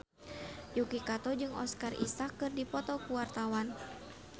Yuki Kato jeung Oscar Isaac keur dipoto ku wartawan